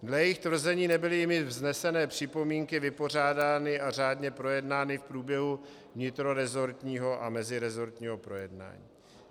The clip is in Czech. Dle jejich tvrzení nebyly jimi vznesené připomínky vypořádány a řádně projednány v průběhu vnitroresortního a meziresortního projednání.